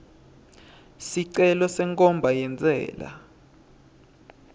sicelo senkhomba yentsela